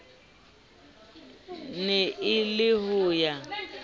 ne e le ho ya